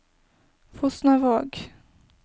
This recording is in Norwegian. Fosnavåg